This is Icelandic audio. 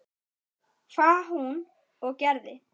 Hvað hún og gerði.